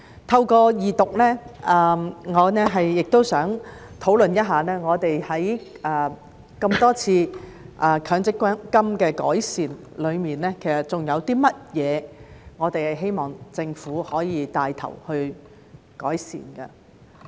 透過二讀，我也想討論一下，在強制性公積金經過多次的改善後，還有甚麼我們希望政府可以帶頭改善。